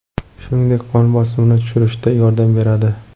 Shuningdek, qon bosimini tushirishda yordam beradi.